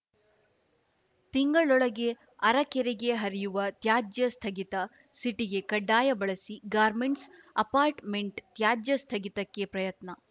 ತಿಂಗಳೊಳಗೆ ಅರಕೆರೆಗೆ ಹರಿಯುವ ತ್ಯಾಜ್ಯ ಸ್ಥಗಿತ ಸಿಟಿಗೆ ಖಡ್ಡಾಯ ಬಳಸಿ ಗಾರ್ಮೆಂಟ್ಸ್ ಅಪಾರ್ಟ್ಮೆಂಟ್ ತ್ಯಾಜ್ಯ ಸ್ಥಗಿತಕ್ಕೆ ಪ್ರಯತ್ನ